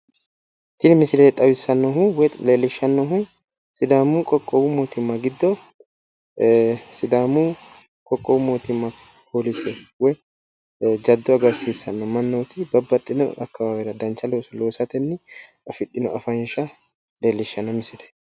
Tini misile xawissannohu woyi leellishshannohu sidaamu qoqqowu mootimma giddo sidaamu qoqqowu mootimma polise jaddo agarsiissanno mannoti babbaxxino akawaawera dancha looso loosatenni afidhino afansha leellishshanno misileeti.